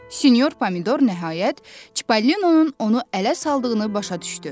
Sinyor Pomidor nəhayət Çipallinonun onu ələ saldığını başa düşdü.